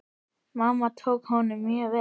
Mamma tók honum mjög vel.